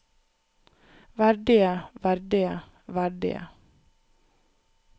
verdige verdige verdige